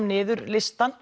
niður listann